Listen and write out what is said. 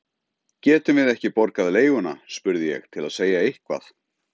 Getum við ekki borgað leiguna? spurði ég til að segja eitthvað.